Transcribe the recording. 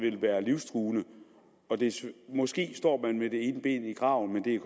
være livstruende måske står man med det ene ben i graven men det er